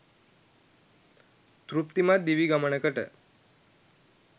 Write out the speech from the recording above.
තෘප්තිමත් දිවි ගමනකට